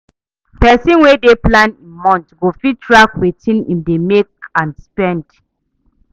Pesin wey dey plan im month go fit track wetin im dey make and spend